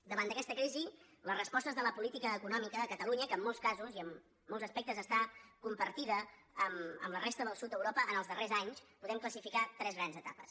davant d’aquesta crisi les respostes de la política econòmica a catalunya que en molts casos i en molts aspectes està compartida amb la resta del sud d’europa en els darrers anys hi podem classificar tres grans etapes